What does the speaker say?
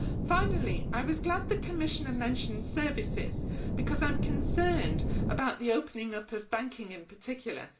Finally, I was glad the Commissioner mentioned services, because I am concerned about the opening up of banking in particular.